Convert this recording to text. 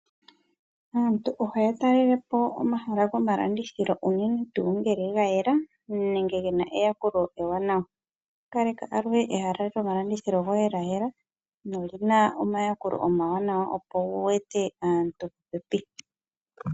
Aantu ohaya talelepo omahala gomalandithilo unene tuu ngele ogayela nenge gena eyakulo ewanawa. Opaleka alushe ehala lyomalandithilo lyayela nolina omayakulo omawanawa, opo wu ete aantu popepi.